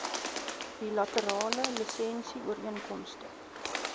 bilaterale lisensie ooreenkomste